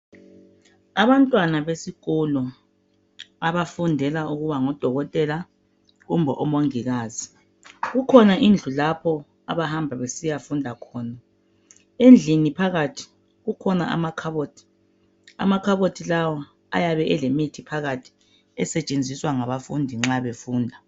abantwana besikolo abafundela ukuba ngodokotela kumbe omongikazi kukhona indlu lapho abahamba besiya funda khona endlini phakathi kukhona amakhabothi amakhabothi lawo ayabe elemithi phakathi esetshenziswa ngabafundi nxa befunda